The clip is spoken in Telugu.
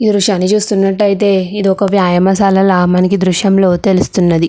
ఈ దృశ్యని చూసినట్టు ఐతే ఇది ఒక్క వ్యాయామశాల మనకి దృశ్యంలో తెలుస్తున్నది.